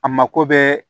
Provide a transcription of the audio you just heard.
A mako bɛ